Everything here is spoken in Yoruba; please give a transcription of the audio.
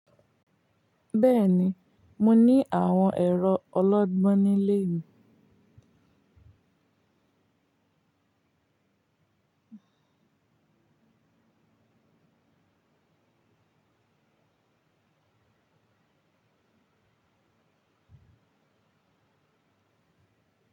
Bẹ́ẹ̀ni, mo ní àwọn ẹ̀rọ ọlọ́gbọ́n nílé mi.